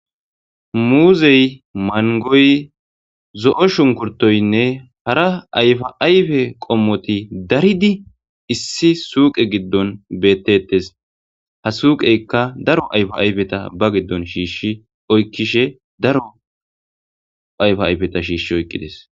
muuzey mangoy zo7o shunkurtoynne hara ayfa ayfe qommoti daridi issi suuqe giddon bettettes ha suuqeykka daro ayfa ayfeta ba giddon shiishshi oykkishe daro ayfa ayfeta shiishshi oyqqides.